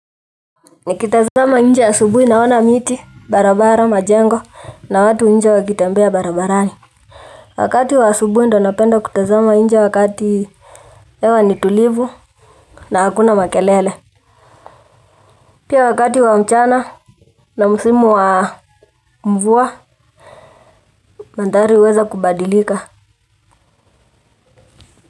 Nikitazama nje asubui naona miti barabara majengo na watu nje wakitembea barabarani. Wakati wa asubui ndo napenda kutazama nje wakati ewa nitulivu na hakuna makelele. Pia wakati wa mchana na musimu wa mvua mandhari huweza kubadilika.